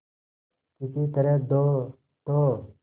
किसी तरह दो तो